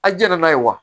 A jɛn n'a ye wa